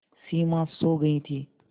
सिमा सो गई थी